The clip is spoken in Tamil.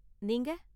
நீங்க?